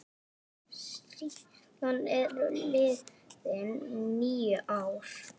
Síðan eru liðin níu ár.